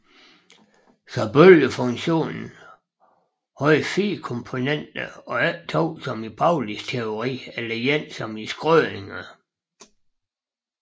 Så bølgefunktionen havde 4 komponenter og ikke to som i Paulis teori eller én som i Schrödinger